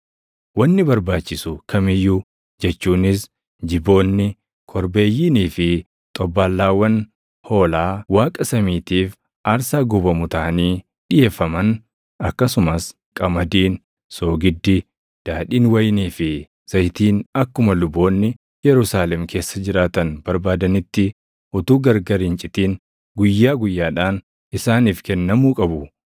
Wanni barbaachisu kam iyyuu jechuunis jiboonni, korbeeyyiinii fi xobbaallaawwan hoolaa Waaqa samiitiif aarsaa gubamu taʼanii dhiʼeeffaman, akkasumas qamadiin, soogiddi, daadhiin wayinii fi zayitiin akkuma luboonni Yerusaalem keessa jiraatan barbaadanitti utuu gargar hin citin guyyaa guyyaadhaan isaaniif kennamuu qabu;